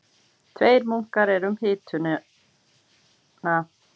Tveir munkar eru um hituna